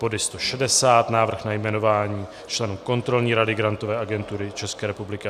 Bod 160, Návrh na jmenování členů Kontrolní rady Grantové agentury České republiky.